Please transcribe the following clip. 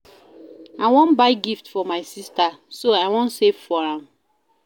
I wan buy gift for my sister so I wan save for am